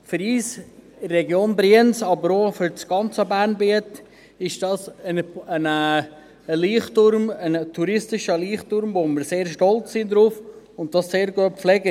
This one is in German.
Für uns in der Region Brienz, aber auch für das ganze Bernbiet, ist dies ein touristischer Leuchtturm, auf den wir sehr stolz sind und den wir sehr gut pflegen.